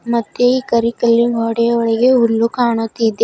ಮತ್ತೆ ಈ ಕರಿ ಕಲ್ಲಿನ ಗೋಡೆಯ ಒಳಗೆ ಹುಲ್ಲು ಕಾಣುತ್ತಿದೆ.